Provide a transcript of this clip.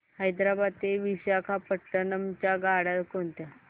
हैदराबाद ते विशाखापट्ण्णम च्या गाड्या कोणत्या